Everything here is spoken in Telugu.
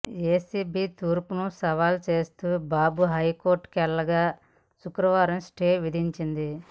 ఏసీబీ తీర్పును సవాల్ చేస్తూ బాబు హైకోర్టుకెళ్లగా శుక్రవారం స్టే విధించింది